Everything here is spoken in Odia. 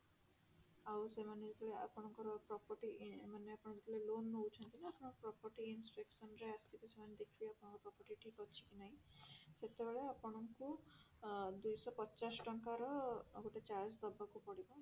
ଆଉ ସେମାନେ ଯେତେବେଳେ ଆପଣଙ୍କର property ମାନେ ଆପଣ ଯେତେବେଳେ loan ନଉଛନ୍ତି ନା ଆପଣ property instruction ରେ ଆସିବେ ସେମାନେ ଦେଖିବେ ଆପଣଙ୍କର property ଠିକ ଅଛି କି ନାଇଁ ସେତେବେଳେ ଆପଣଙ୍କୁ ଆ ଦୁଇଶହ ପଚାଶ ଟଙ୍କାର ଆଉ ଗୋଟେ charge ଦବାକୁ ପଡିବ